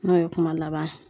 N'o ye kuma laban ye.